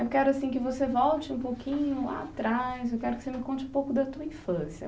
Eu quero que você volte um pouquinho lá atrás, eu quero que você me conte um pouco da sua infância.